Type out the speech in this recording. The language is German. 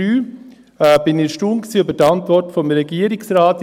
: Ich war erstaunt über die Antwort des Regierungsrates.